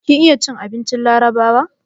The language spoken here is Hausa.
Kin iya cin abincin larabawa?